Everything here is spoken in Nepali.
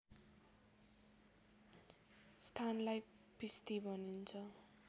स्थानलाई पिस्ती भनिन्छ